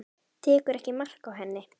Tekur ekki mark á henni.